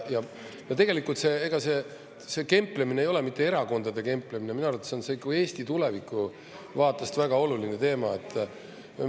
Ja tegelikult ega see kemplemine ei ole mitte erakondade kemplemine, minu arvates on see Eesti tuleviku vaatest väga oluline teema.